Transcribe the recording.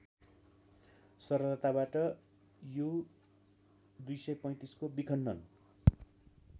सरलताबाट यु२३५को विखण्डन